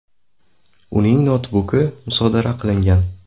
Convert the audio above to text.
Uning noutbuki musodara qilingan.